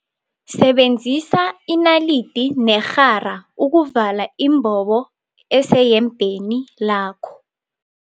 Sebenzisa inalidi nerhara ukuvala imbobo eseyembeni lakho.